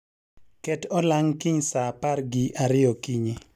ket olang' kiny saa apar gi ariyo okinyi